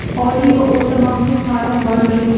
Oliy va o‘rta maxsus taʼlim vazirligi.